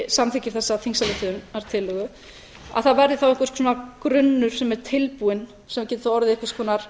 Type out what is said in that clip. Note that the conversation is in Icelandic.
samþykkir þessa þingsályktunartillögu að það verði einhver grunnur sem er tilbúinn sem geti orðið einhvers konar